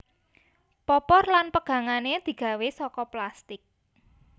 Popor lan pegangane digawe saka plastik